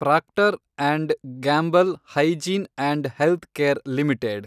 proctor and Gamble Hygiene and Health Care limited